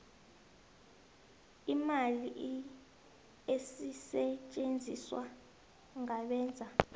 iimali ezisetjenziswa ngabenza